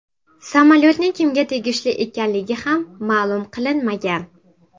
Samolyotning kimga tegishli ekanligi ham ma’lum qilinmagan.